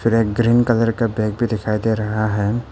एक green colour का bag भी दिखाई दे रहा है।